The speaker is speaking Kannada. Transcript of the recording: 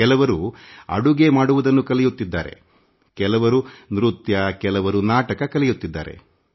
ಕೆಲವರು ಅಡುಗೆ ಮಾಡುವುದನ್ನು ಕಲಿಯುತ್ತಿದ್ದರೆ ಮತ್ತೆ ಕೆಲವರು ನೃತ್ಯ ಮತ್ತು ನಾಟಕಾಭಿನಯ ಕಲಿಯುತ್ತಿದ್ದಾರೆ